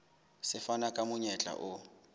se fana ka monyetla o